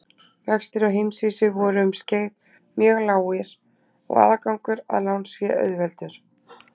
Vextir á heimsvísu voru um skeið mjög lágir og aðgangur að lánsfé auðveldur.